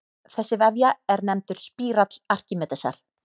Þessi vefja er nefndur spírall Arkímedesar.